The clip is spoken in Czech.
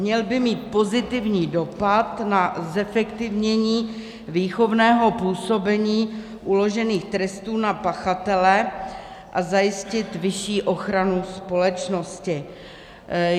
Měl by mít pozitivní dopad na zefektivnění výchovného působení uložených trestů na pachatele a zajistit vyšší ochranu společnosti.